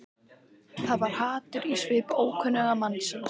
Það var hatur í svip ókunnuga mannsins.